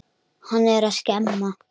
Hann er að skemma.